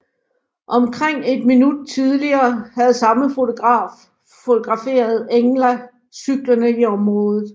Omkring et minut tidligere havde samme fotograf fotograferet Engla cyklende i området